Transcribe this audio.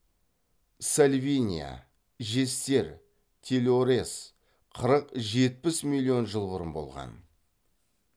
сальвиния жестер телорез қырық жетпіс миллион жыл бұрын болған